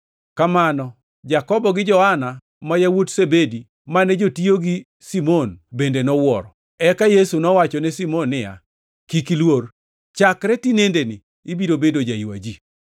Kamano, Jakobo gi Johana ma yawuot Zebedi mane jotiyo gi Simon bende nowuoro. Eka Yesu nowachone Simon niya, “Kik iluor; chakre tinendeni ibiro bedo jaywa ji.”